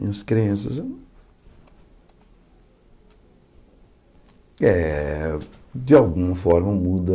Minhas crenças eh... De alguma forma muda...